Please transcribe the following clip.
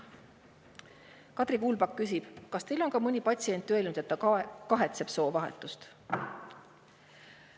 Kadri Kuulpak küsib: "Kas teil on ka mõni patsient öelnud, et kahetseb soovahetust?